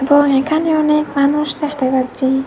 ও এখানে অনেক মানুষ দেখতে পাচ্ছি।